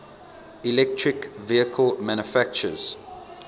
electric vehicle manufacturers